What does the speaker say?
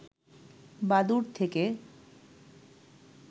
বাদুড় থেকে